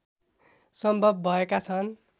सम्भव भएका छन्